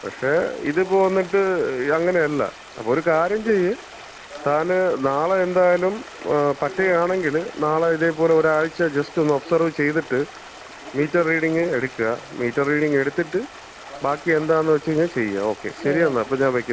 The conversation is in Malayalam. പക്ഷേ, ഇതിപ്പം വന്നിട്ട്, അങ്ങനെയല്ല. അപ്പൊ ഒരു കാര്യം ചെയ്യ്, താന് നാളെ എന്തായാലും പറ്റുകയാണെങ്കില് നാളെ ഇതേപോലെ ഒരാഴ്ച ജസ്റ്റ് ഒന്ന് ഒബ്സർവ് ചെയ്തിട്ട് മീറ്റർ റീഡിങ് എട്ക്കാ, മീറ്റർ റീഡിങ് എടുത്തിട്ട്, ബാക്കി എന്താന്ന് വെച്ച്കഴിഞ്ഞാ ചെയ്യാ. ഓകെ, ശരി എന്നാ അപ്പം ഞാൻ വെക്കുന്നു.